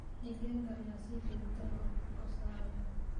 Digaagga ayaa si joogto ah ukun u saaraya.